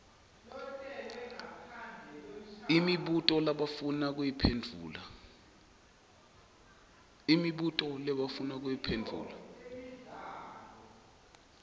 imibuto labafuna kuyiphendvula